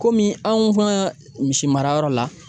Kɔmi anw ka misi marayɔrɔ la.